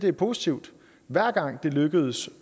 er positivt hver gang det lykkes